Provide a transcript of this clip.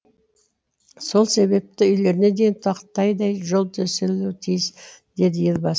сол себепті үйлеріне дейін тақтайдай жол төселуі тиіс деді елбасы